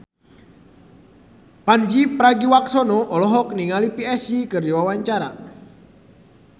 Pandji Pragiwaksono olohok ningali Psy keur diwawancara